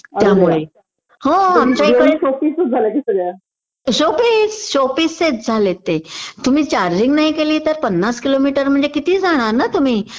त्यामुळे हो आमच्या इकडे शोपीस शोपीसच झालेत ते तुम्ही चार्जिंग नाही केली तर पन्नास किलोमीटर म्हणजे किती जाणार ना तुम्ही?